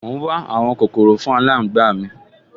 Mò ún wá àwọn kòkòrò fún aláǹgbá mi